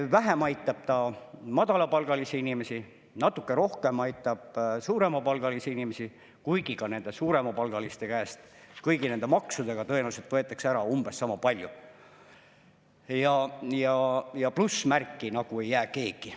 Vähem aitab ta madalapalgalisi inimesi, natuke rohkem aitab suuremapalgalisi inimesi, kuigi ka nende suuremapalgaliste käest kõigi nende maksudega tõenäoliselt võetakse ära umbes sama palju, ja plussmärki nagu ei jää kellelegi.